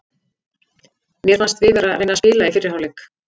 Mér fannst við vera að reyna að spila í fyrri hálfleik.